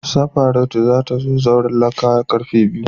Safaratu za ta zo zauren lacca a'karfe biyu.